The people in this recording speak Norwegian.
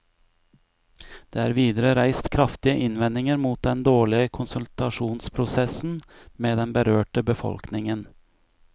Det er videre reist kraftige innvendinger mot den dårlige konsultasjonsprosessen med den berørte befolkningen.